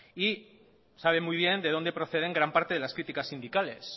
y sabe muy bien de dónde proceden gran parte de las críticas sindicales